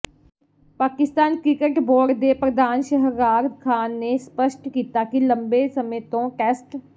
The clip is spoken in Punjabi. ਪਾਕਿਸਤਾਨ ਕ੍ਰਿਕਟ ਬੋਰਡ ਦੇ ਪ੍ਰਧਾਨ ਸ਼ਹਰਆਰ ਖਾਨ ਨੇ ਸਪੱਸ਼ਟ ਕੀਤਾ ਕਿ ਲੰਬੇ ਸਮੇਂ ਤੋਂ ਟੈਸਟ